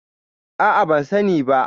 A'a, ban sani ba.